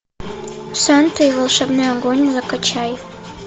санта и волшебный огонь закачай